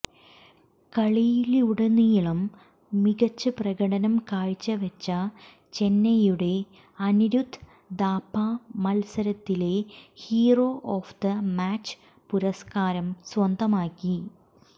കളിയിലുടനീളം മികച്ച പ്രകടനം കാഴ്ചവെച്ച ചെന്നൈയുടെ അനിരുദ്ധ് ഥാപ്പ മത്സരത്തിലെ ഹീറോ ഓഫ് ദ മാച്ച് പുരസ്കാരം സ്വന്തമാക്കി